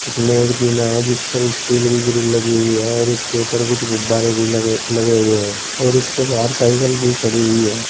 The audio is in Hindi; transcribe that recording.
इसमें एक जीना है जिस पर स्टील की ग्रिल लगी हुई है और उसके ऊपर कुछ गुब्बारे भी लगे लगे हुए हैं और इसके बाहर साइकल भी खड़ी हुई है।